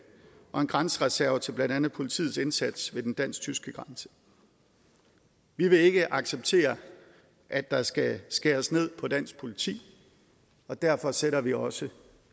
og en grænsereserve til blandt andet politiets indsats ved den dansk tyske grænse vi vil ikke acceptere at der skal skæres ned på dansk politi og derfor sætter vi også